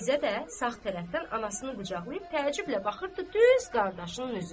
Fizzə də sağ tərəfdən anasını qucaqlayıb təəccüblə baxırdı düz qardaşının üzünə.